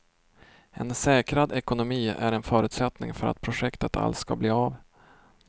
En säkrad ekonomi är en förutsättning för att projektet alls ska bli av.